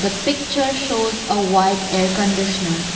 the picture shows a white air conditioner.